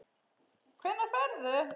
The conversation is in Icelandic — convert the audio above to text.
Hvenær ferðu?